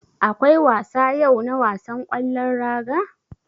Akwai wasa yau na wasan ƙwallon raga.